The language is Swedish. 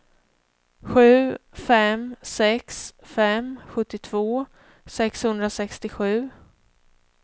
sju fem sex fem sjuttiotvå sexhundrasextiosju